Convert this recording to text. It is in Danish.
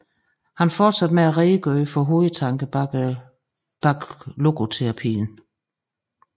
Han fortsatte med at redegøre for hovedtankerne bag logoterapien